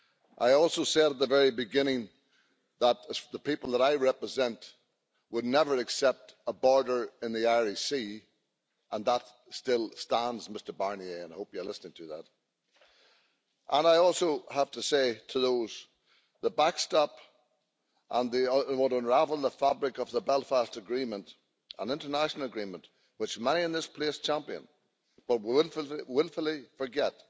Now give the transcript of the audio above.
I also said at the very beginning that the people that I represent would never accept a border in the Irish Sea, and that still stands, Mr Barnier I hope you're listening to that. And I also have to say that the backstop would unravel the fabric of the Belfast Agreement, an international agreement which many in this place champion, but they wilfully forget